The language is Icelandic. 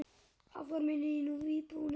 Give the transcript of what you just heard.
Áformin miðist nú við íbúðir.